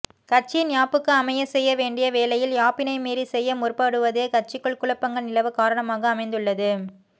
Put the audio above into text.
கட்சியின் யாப்புக்கு அமைய செய்ய வேண்டிய வேளையில் யாப்பினை மீறி செய்ய முற்படுவதே கட்சிக்குள் குழப்பங்கள் நிலவ காரணமாக அமைந்துள்ளது